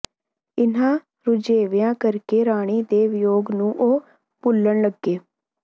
ਇਨ੍ਹਾਂ ਰੁਝੇਵਿਆਂ ਕਰਕੇ ਰਾਣੀ ਦੇ ਵਿਯੋਗ ਨੂੰ ਉਹ ਭੁੱਲਣ ਲੱਗੇ